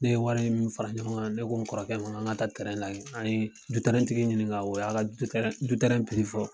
Ne ye wari min fara ɲɔgɔn kan ne ko n kɔrɔkɛ ma an ka taa lajɛ an ye tigi ɲininka o y'a fɔ.